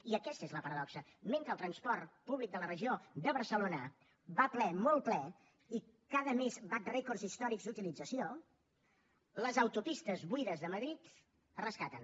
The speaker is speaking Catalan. i aquesta és la paradoxa mentre el transport públic de la regió de barcelona va ple molt ple i cada mes bat rècords històrics d’utilització les autopistes buides de madrid es rescaten